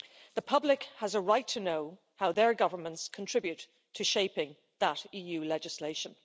The public has a right to know how their governments contribute to shaping that EU legislation.